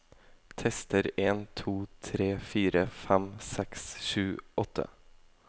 Tester en to tre fire fem seks sju åtte